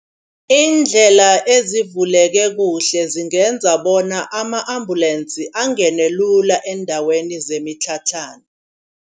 Indlela ezivuleke kuhle zingenza bona ama ambulance angene lula eendaweni zemitlhatlhana.